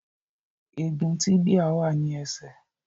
Egun tíbíà wà ní ẹsẹ̀